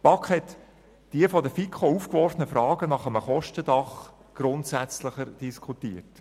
Die BaK hat die von der FiKo aufgeworfenen Fragen nach einem Kostendach grundsätzlicher diskutiert.